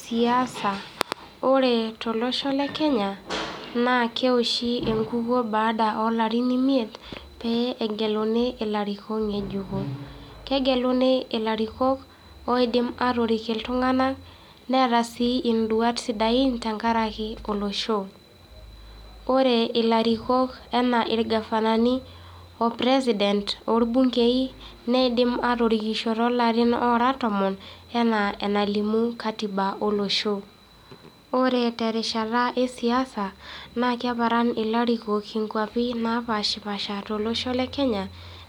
Siasa. Ore tolosho le Kenya, naa keoshi emowuo baada oo larin imiet, pee egeluni ilarikok ng'ejuko. Kegeluni ilarikok oidim aatorik iltung'anak, neeta sii iduat sidain tekaraki olosho. Ore ilarikok anaa ilgavanani, opresident or bunkei, neidim atorikisho too larin oora tomon anaa enalimu katiba olosho. Ore terishata esiasa, naa keparan ilarikok inkuapi naa paashi pasha tolosho lekenya